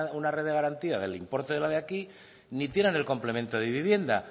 una red de garantía del importe de la de aquí ni tienen el complemento de vivienda